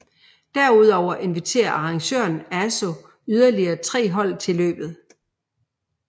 Derudover inviterer arrangøren ASO yderlige tre hold til løbet